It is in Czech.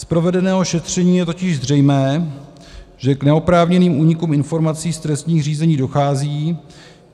Z provedeného šetření je totiž zřejmé, že k neoprávněným únikům informací z trestních řízení dochází.